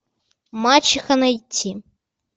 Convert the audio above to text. мачиха найти